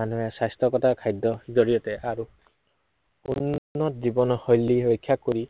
মানুহে স্বাস্থ্য়গতা খাদ্য়ৰ জড়িয়তে আৰু উন্নত জীৱনশৈলী ৰক্ষা কৰি